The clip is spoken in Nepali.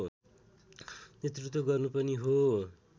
नेतृत्व गर्नु पनि हो